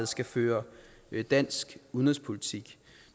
skal føre dansk udenrigspolitik